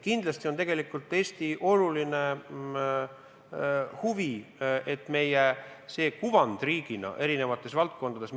Kindlasti on Eesti oluline huvi, et meil oleks riigina hea kuvand erinevates valdkondades.